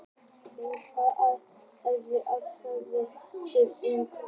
Ef einhver tekur því alvarlega er það alfarið á hans eða hennar eigin ábyrgð.